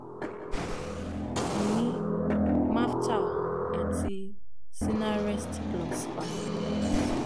mò ń fún un ní meftal àti sinarest plus papọ̀